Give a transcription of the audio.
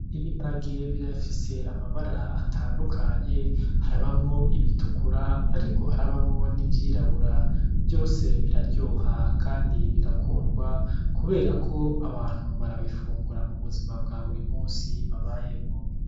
Ibiharage birafise amabara atandukanye , harabamwo ibitukura ariko harabamwo n'ivyirabura , vyose biraryoha kandi birakundwa kubera ko abantu barabifungura mu buzima buri musi babayemwo.